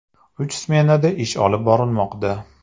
Uch smenada ish olib borilmoqda.